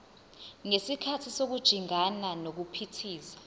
ngesikhathi sokujingana nokuphithiza